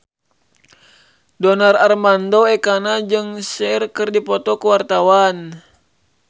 Donar Armando Ekana jeung Cher keur dipoto ku wartawan